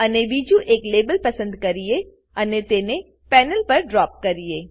અને બીજું એક લાબેલ પસંદ કરીએ અને તેને પેનલ પર ડ્રોપ કરીએ